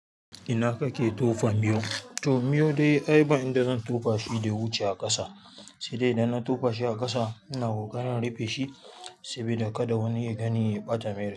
Ina kake tofa miyo? To miyo dai ai ba inda zan tofa shi dai ya wuce a ƙasa. Sai dai idan na tofa shi a ƙasa, ina ƙoƙarin in rufe shi sabida kada wani ya gani ya ɓata me rai.